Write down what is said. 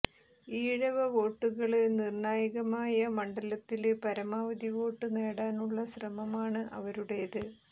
ഈഴവ വോട്ടുകള് നിര്ണായകമായ മണ്ഡലത്തില് പരമാവധി വോട്ട് നേടാനുള്ള ശ്രമമാണ് അവരുടേത്